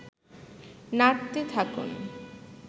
নাড়তে থাকুন